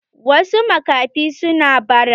Wasu makafin suna bara.